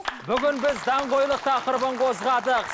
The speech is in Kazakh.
бүгін біз даңғойлық тақырыбын қозғадық